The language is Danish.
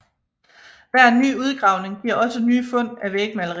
Hver ny udgravning giver også nye fund af vægmalerier